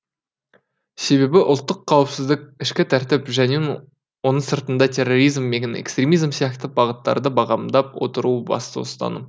себебі ұлттық қауіпсіздік ішкі тәртіп және оның сыртында терроризм мен экстремизм сияқты бағыттарды бағамдап отыру басты ұстаным